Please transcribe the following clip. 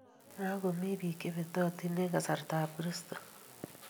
Makomii biik chebetotin eng kasarta ab kristo